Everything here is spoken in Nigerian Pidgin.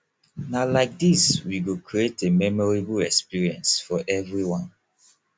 na like dis we go create a memorable experience for everyone